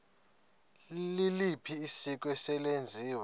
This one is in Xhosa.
liliphi isiko eselenziwe